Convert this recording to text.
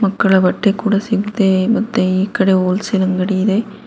ಮಕ್ಕಳ ಬಟ್ಟೆ ಕೂಡ ಸಿಗುತ್ತೆ ಮತ್ತೆ ಈ ಕಡೆ ಹೋಲ್ ಸೇಲ್ ಅಂಗಡಿ ಇದೆ.